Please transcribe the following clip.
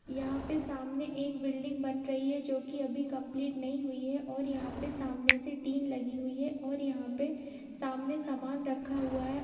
यहाँ पे सामने एक बिल्डिंग बन रही है जो की अभी कम्प्लीट नही हुई है और यहाँ पे सामने से टिन लगी हुई है और यहाँ पे सामने सामान रखा हुआ है।